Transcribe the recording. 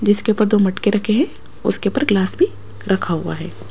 जिसके ऊपर दो मटके रखे हैं उसके ऊपर ग्लास भी रखा हुआ है।